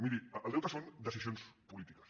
miri el deute són decisions polítiques